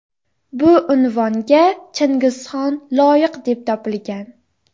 Bu unvonga Chingizxon loyiq deb topilgan.